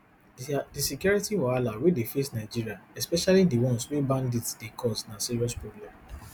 di security wahala wey dey face nigeria especially di ones wey bandits dey cause na serious problem